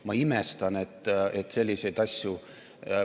Ma imestan, et selliseid asju ...